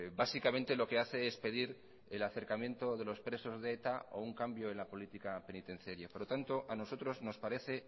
básicamente lo que hace es pedir el acercamiento de los presos de eta o un cambio en la política penitenciaria por lo tanto a nosotros nos parece